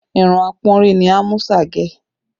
Irun apọ́nrí ni Amusa gẹ̀